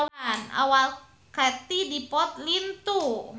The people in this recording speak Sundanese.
Awak Katie Dippold lintuh